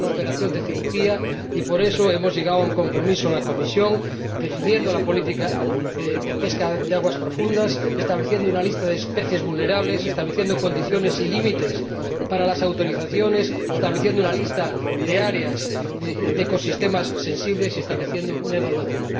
Hay que hacer una operación de cirugía, y por eso hemos llegado a un compromiso en la comisión, definiendo la política de pesca de aguas profundas, estableciendo una lista de especies vulnerables, estableciendo condiciones y límites para las autorizaciones, estableciendo una lista de áreas de ecosistemas sensibles y estableciendo una evaluación.